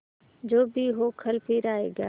जो भी हो कल फिर आएगा